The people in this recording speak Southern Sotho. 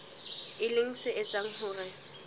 e leng se etsang hore